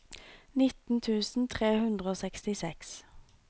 nitten tusen tre hundre og sekstiseks